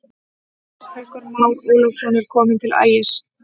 Haukur Már Ólafsson er kominn til Ægis.